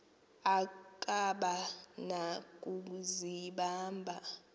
akaba na kuzibamba